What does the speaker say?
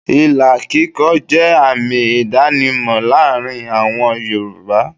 Ìlà kíkọ jẹ́ àmì ìdánimọ̀ láàárín àwọn Yorùbá.